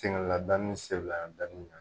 Sɛgɛn lada ni sela danni na